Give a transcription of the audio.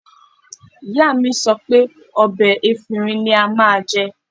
Ìyá mi sọ pé ọ̀bẹ efinrin ni a máa jẹ